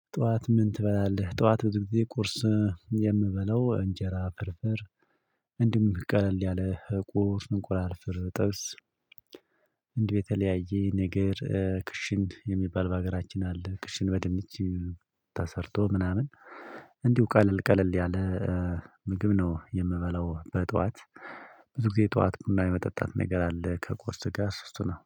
ጠዋት ምን ትበላለህ? ጠዋት ብዙ ጊዜ ቁርስ የምበለው እንጀራ ፍርፍር እንዲሁም ቀለል ያለህ ቁርስ እንቁላል ፍር ጥብስ እንዲሁ የተለያየ ነገር ክሽን የሚባል በሀገራችን አለ ክሽን በደንብ ተሰርቶ ምናምን እንዲሁ ቀለል ቀለል ያለ ምግብ ነው የምበለው በጠዋት ብዙ ጊዜ ጠዋት ቡና የመጠጣት ነገር አለ ከቁርስ ጋር እሱ እሱ ነው